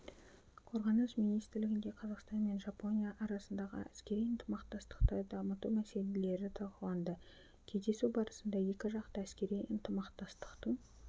қорғаныс министрлігінде қазақстан мен жапония арасындағы әскери ынтымақтастықты дамыту мәселелері талқыланды кездесу барысында екіжақты әскери ынтымақтастықтың